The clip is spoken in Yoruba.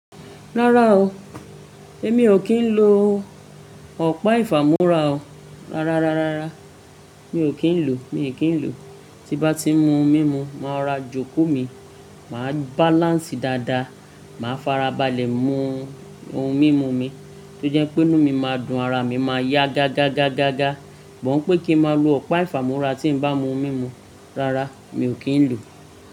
Rárá o, èmi ò kí ń lo ọ̀pá ìfàmúrà o. Rárá, rárá, rárá, mi ò kí ń lò, mi ò kí ń lò. Tí bá ti ń mu ohun mímu, màá rora jòkó mi, màá bàláǹsì dáadáa, màá farabalẹ̀ mu ohun mímu mi tó jẹ́ pé inú mi máa dùn, ara mi máa yá gagagagaga. But n pé kí n máa lo ọ̀pá ìfàmúrà tí ń bá mu ohun mímu, rárá, mi ò kí ń lò.